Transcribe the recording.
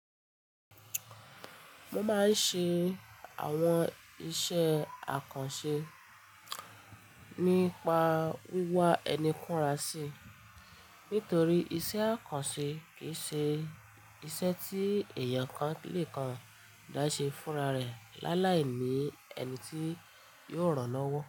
Mo máa ń ṣe àwọn iṣẹ́ àkànṣe nípa wíwá ẹni ń kúnra sí, nítorí iṣẹ́ àkànṣe kì í ṣe iṣẹ́ tí èèyàn kan lè kan dá ṣe fúnra rẹ̀ láàláì ni ẹni tí yóò ràn án lọ́wọ́.